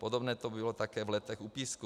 Podobné to bylo také v Letech u Písku.